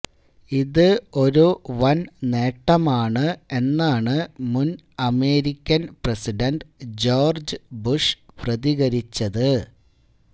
ഇത് ഒരു വന് നേട്ടമാണ് എന്നാണ് മുന് അമേരിക്കന് പ്രസിഡണ്ട് ജോര്ജ് ബുഷ് പ്രതികരിച്ചത്